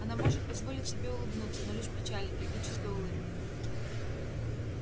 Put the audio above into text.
она может позволить себе улыбнуться но лишь печальной трагической улыбкой